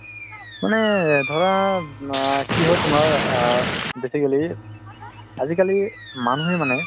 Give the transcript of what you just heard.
মানে ধৰা আ মানে কি হয় তুমাৰ আ basically আজিকালি মানুহে মানে